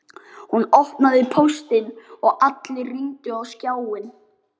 Hún opnaði póstinn og allir rýndu á skjáinn.